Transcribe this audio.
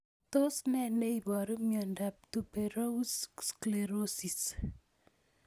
Tos ne neiparu miondop Tuberous sclerosis,